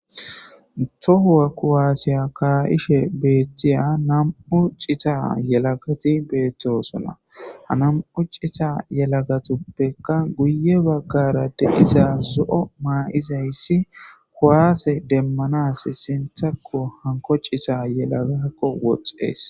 tohuwa kuwaassiya kaayishe beettiya nam7u cita yelagati beettosona ha nam7u cita yelagatuppeka guye baggarade izaa zo7o maa7izayssi kuwaase demmanas sinthakko hanko cisa yelagakko woxees